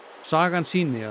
sagan sýni